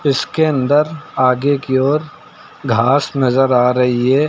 इसके अंदर आगे की ओर घास नजर आ रही है।